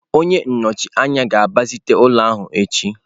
Onye nnọchi anya ga-agbazite ụlọ ahụ echi.